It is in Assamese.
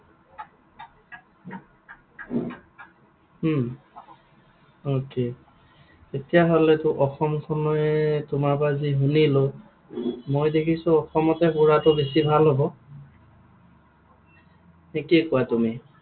উম okay তেতিয়াহলেতো অসমখন